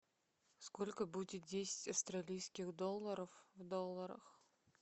сколько будет десять австралийских долларов в долларах